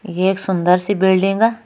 ये एक सुन्दर सी बिल्डिंग ।